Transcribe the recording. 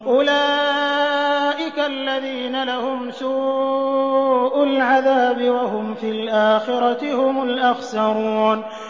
أُولَٰئِكَ الَّذِينَ لَهُمْ سُوءُ الْعَذَابِ وَهُمْ فِي الْآخِرَةِ هُمُ الْأَخْسَرُونَ